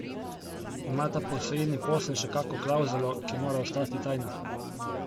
Ima ta posojilni posel še kako klavzulo, ki mora ostati tajna?